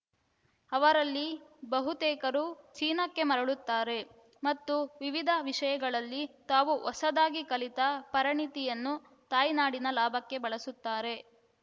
ಅವರಲ್ಲಿ ಬಹುತೇಕರು ಚೀನಾಕ್ಕೆ ಮರಳುತ್ತಾರೆ ಮತ್ತು ವಿವಿಧ ವಿಷಯಗಳಲ್ಲಿ ತಾವು ಹೊಸದಾಗಿ ಕಲಿತ ಪರಿಣತಿಯನ್ನು ತಾಯ್ನಾಡಿನ ಲಾಭಕ್ಕೆ ಬಳಸುತ್ತಾರೆ